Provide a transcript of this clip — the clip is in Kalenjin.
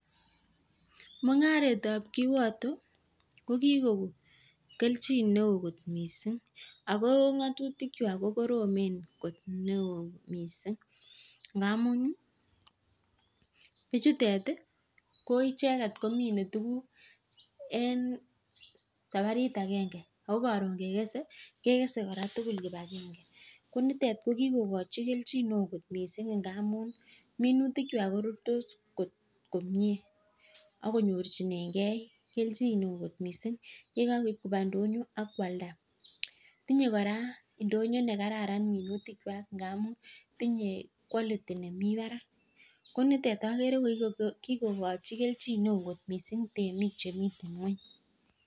Mungaretab kiwoto ko kikoko keljin neo kot missing ako ngotutik kwak kokoromen kot neo missing ngamun bichutet koicheket komine tukuk en sabarit agenge ako korun kekesen kekesen koraa tukul kipagenge , ko nitet ko kikokochi keljin neo missing ngamun minutik kwak korurtos kot komie akonyorchinengee keljin neo kot missing yekakoib koba ndonyo ak kwalda. Tinye koraa ndonyo nekararan minutik kwak ngamun tinye quality nemii barak ko nitet okere ko kikokochi keljin neo missing temik chemiten ngweny.